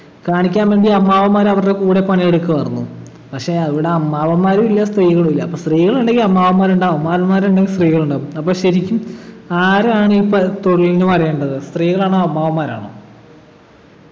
കാണിക്കാൻ വേണ്ടി അമ്മാവന്മാർ അവരുടെ കൂടെ പണിയെടുക്കുമായിരുന്നു പക്ഷെ ഇവിടെ അമ്മാവന്മാരും ഇല്ല സ്ത്രീകളും ഇല്ല അപ്പൊ സ്ത്രീകളുണ്ടെങ്കി അമ്മാവന്മാരുണ്ടാകും അമ്മാവന്മാരുണ്ടെങ്കി സ്ത്രീകളുണ്ടാകും അപ്പൊ ശരിക്കും ആരാണ് ഈ പ തൊഴിലിനു വരേണ്ടത് സ്ത്രീകളാണോ അമ്മാവന്മാരാണോ